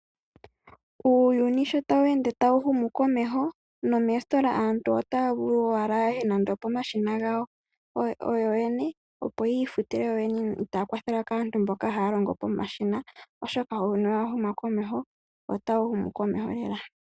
Uuyuni sho tawu ende tawu humu komeho, nomoositola aantu otaya vulu owala ya ye nande opomashina gawo yo yene opo ya fute yo yene itaaya kwathelwa kaantu mboka haya lono pomashina oshoka uuyuni owa huma komeho. Ota wu ende tawu humu komeho lela.